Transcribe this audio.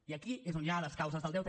i aquí és on hi ha les causes del deute